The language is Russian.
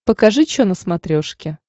покажи чо на смотрешке